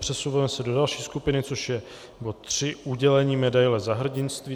Přesunujeme se do další skupiny, což je bod III, udělení medaile Za hrdinství.